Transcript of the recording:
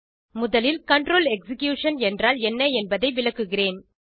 முதலில் control execution என்றால் என்ன என்பதை விளக்குகிறேன்